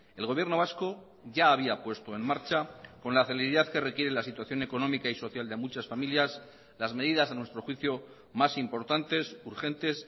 el gobierno vasco ya había puesto en marcha con la celeridad que requiere la situación económica y social de muchas familias las medidas a nuestro juicio más importantes urgentes